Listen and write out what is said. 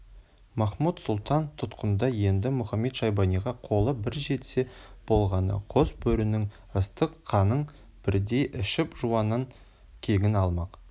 махмуд-сұлтан тұтқында енді мұхамед-шайбаниға қолы бір жетсе болғаны қос бөрінің ыстық қанын бірден ішіп жауынан кегін алмақ